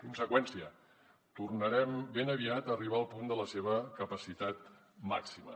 conseqüència tornarem ben aviat a arribar al punt de la seva capacitat màxima